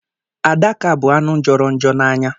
Adaka bụ anụ jọrọ njọ n'anya.